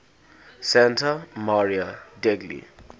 santa maria degli